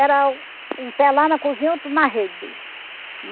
Era um pé lá na cozinha e outro na rede dele.